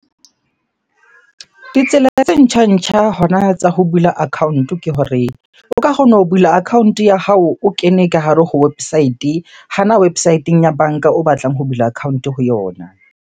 Ditsela tse ntjha-ntjha hona tsa ho bula account-o ke hore, o ka kgona ho bula account-o ya hao o kene ka hare ho website. Hana website-eng ya banka o batlang ho bula account-o ho yona.